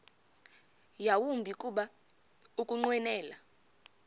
yawumbi kuba ukunqwenela